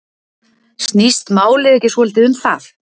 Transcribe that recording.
Snýst málið ekki svolítið um það?